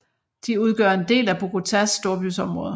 De udgør en del af Bogotás storbyområde